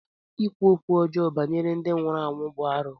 Ịkwu okwu ọjọọ banyere ndị nwụrụ anwụ bụ arụ.